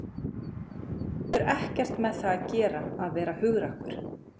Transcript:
Þetta hefur ekkert með það að gera að vera hugrakkur.